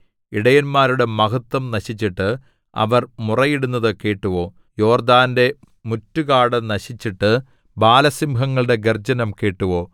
ഇടയന്മാരുടെ മഹത്വം നശിച്ചിട്ട് അവർ മുറയിടുന്നതു കേട്ടുവോ യോർദ്ദാന്റെ മുറ്റു കാട് നശിച്ചിട്ട് ബാലസിംഹങ്ങളുടെ ഗർജ്ജനം കേട്ടുവോ